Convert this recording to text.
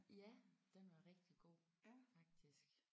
Ja den var rigtig god faktisk